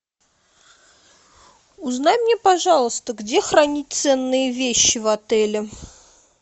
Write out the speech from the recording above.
узнай мне пожалуйста где хранить ценные вещи в отеле